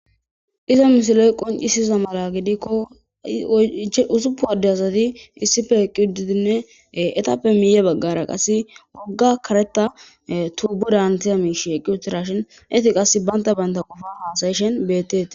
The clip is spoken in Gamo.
Iza misiley qonccisiza mala gidikko usupun adde asati issippe eqqi uttidinne eetappe miye baggara qasi wogga kareta tubodan hametiya miishey eqqi uttidashin eeti qasi banta banta qofa hasayishin beetetes.